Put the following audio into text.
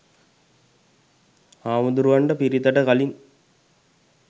හාමුදුරුවන්ට පිරිතට කලින්